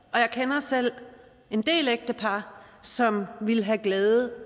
og jeg kender selv en del ægtepar som ville have glæde